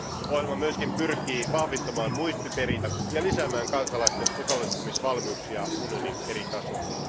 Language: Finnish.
Ohjelma myös pyrkii vahvistamaan muistiperintöä ja lisäämään kansalaisten osallistumisvalmiuksia unionin eri tasoilla.